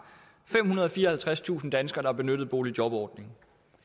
femhundrede og fireoghalvtredstusind danskere der benyttede boligjobordningen